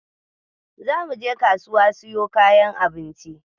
Zamu je kasuwa mu siyo kayan abinci